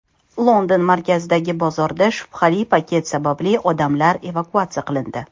London markazidagi bozorda shubhali paket sababli odamlar evakuatsiya qilindi.